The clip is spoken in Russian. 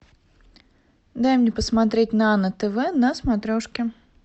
дай мне посмотреть нано тв на смотрешке